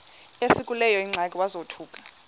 esekuleyo ingxaki wazothuka